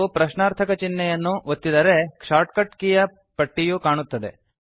ಪ್ರಶ್ನಾರ್ಥಕಚಿಹ್ನೆಯ ಕೀಯನ್ನು ಒತ್ತಿದರೆ shortcut ನ ಪಟ್ಟಿಯು ಕಾಣುತ್ತದೆ